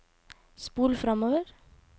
spol framover